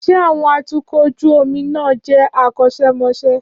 Ṣé àwọn atukọ̀ ojú omi náà jẹ́ akọ́ṣẹ́mọṣẹ́?